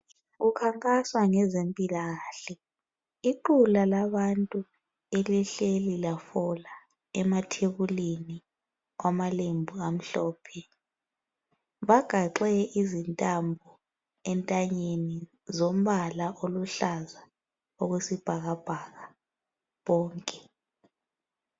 Kukhankaswa ngezempilakahle. Iqula labantu elihleli lafola emathebulini kwamalembu amhlophe. Bagaxe izintambo entanyeni zombala oluhlaza okwesibhakabhaka bonke.